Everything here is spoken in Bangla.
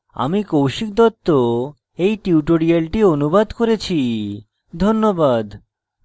আমি কৌশিক দত্ত এই টিউটোরিয়ালটি অনুবাদ করেছি ধন্যবাদ